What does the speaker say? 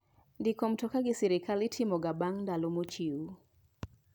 Ndiko mtoka gi sirkal itomo ga bang' ndalo mochiw.